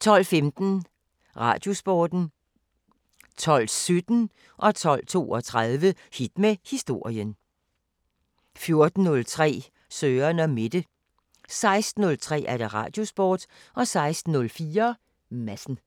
12:15: Radiosporten 12:17: Hit med historien 12:32: Hit med historien 14:03: Søren & Mette 16:03: Radiosporten 16:04: Madsen